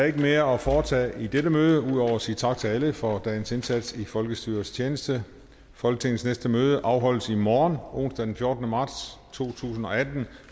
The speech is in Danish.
ikke mere at foretage i dette møde ud over at sige tak til alle for dagens indsats i folkestyrets tjeneste folketingets næste møde afholdes i morgen onsdag den fjortende marts to tusind og atten